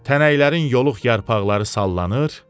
Tənəklərin yoruq yarpaqları sallanır,